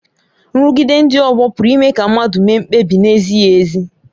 Nrụgide ndị ọgbọ pụrụ ime ka mmadụ mee mkpebi na-ezighị ezi.